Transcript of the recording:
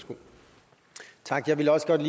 godt